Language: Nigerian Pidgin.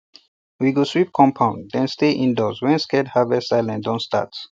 we go sweep um compound then stay indoors when sacred harvest silence don start